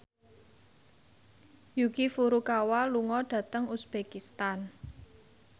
Yuki Furukawa lunga dhateng uzbekistan